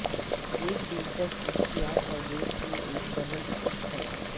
ایک دلچسپ اختیار پردے کی ایک ڈبل سیٹ ہے